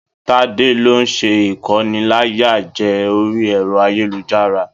Tade ló n sé ikóníláyàjẹ̀ orí ẹrọ ayélujára.